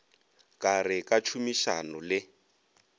ka re ka tšhomišano le